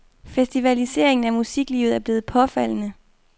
Festivaliseringen af musiklivet er blevet påfaldende.